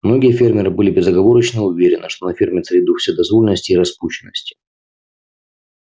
многие фермеры были безоговорочно уверены что на ферме царит дух вседозволенности и распущенности